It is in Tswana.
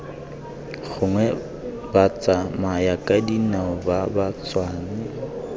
gongwe batsamayakadinao ba ba tswang